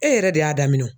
E yɛrɛ de y'a daminɛ o